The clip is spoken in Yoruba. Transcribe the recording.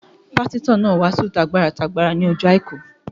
Pásítọ̀ náà wàásù t'agbára t'agbára ní ọjọ́ àìkú